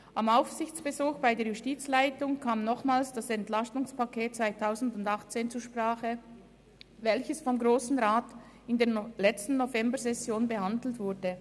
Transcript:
Am Aufsichtsbesuch bei der Justizleitung kam nochmals das Entlastungspaket 2018 (EP 18) zur Sprache, welches vom Grossen Rat in der letzten Novembersession behandelt wurde.